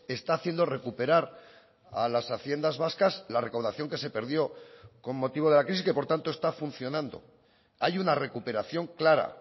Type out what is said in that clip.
está haciendo recuperar a las haciendas vascas la recaudación que se perdió con motivo de la crisis que por tanto está funcionando hay una recuperación clara